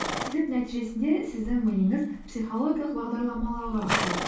сөйтіп нәтижесінде сіздің миыңыз психологиялық бағдарламалауға ұшырайды